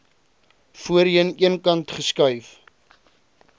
voorheen eenkant geskuif